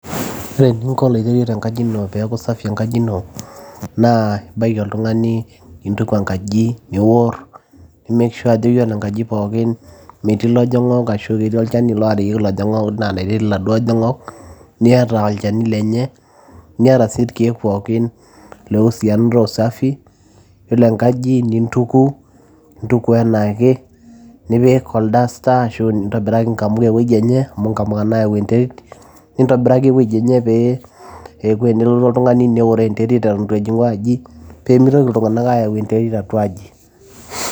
ore eninko oloiterio tenkaji ino peeku safi enkaji ino naa ibaiki oltung'ani nintuku enkaji niworr nimek sure ajo yiolo enkaji pookin metii ilojong'ok ashu ketii olchani loorieki ilojong'ok, naa enetii iladuo ojong'ok niata olchani lenye niata sii irkeek pookin loiusianato usafi] yiolo enkaji nintuku intuku enaake nipik ol duster ashu nintobiraki nkamuka ewueji enye amu inkamuka nayau enterit nintobiraki ewueji enye pee eeku enelotu oltung'ani neworoo enterit eton etu ejing'u aji peemitoki iltung'anak ayau enterit atua aji.